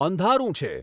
અંધારું છે